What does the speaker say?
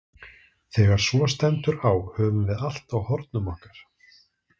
Þegar svo stendur á höfum við allt á hornum okkar.